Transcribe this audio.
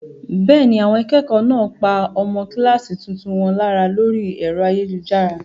Bẹ́ẹ̀ ni, àwọn akẹ́kọ̀ọ́ náà pa ọmọ kíláàsì tuntun wọn lára lórí ẹ̀rọ ayélujára.